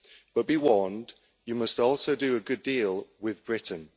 But be warned, you must also do a good deal with Britain.